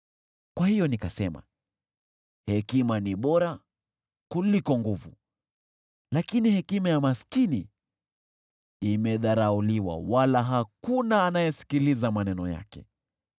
Kwa hiyo, nikasema, “Hekima ni bora kuliko nguvu.” Lakini hekima ya maskini imedharauliwa, wala hakuna anayesikiliza maneno yake.